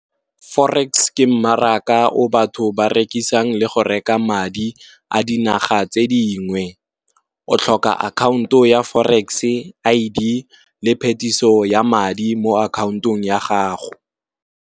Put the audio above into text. Forex ke mmaraka o batho ba rekisang le go reka madi a dinaga tse dingwe, o tlhoka akhaonto ya forex, I_D phetiso ya madi mo akhaontong ya gago.